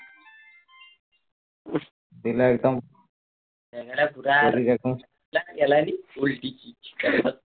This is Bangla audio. বিনা এরকম শরীর এরকম